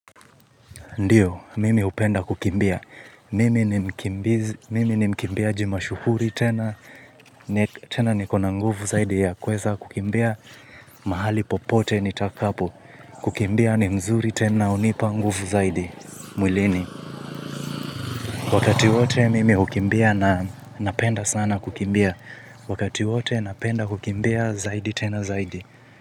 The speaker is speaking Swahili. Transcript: Ndio, mimi hupenda kukimbia. Mimi ni mkimbiaji mashuhuri tena, tena nikona nguvu zaidi ya kuweza kukimbia mahali popote nitakapo. Kukimbia ni mzuri tena hunipa nguvu zaidi, mwilini. Wakati wote mimi hukimbia na ninapenda sana kukimbia. Wakati wote napenda kukimbia zaidi tena zaidi.